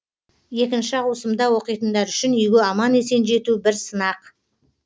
екінші ауысымда оқитындар үшін үйге аман есен жету бір сынақ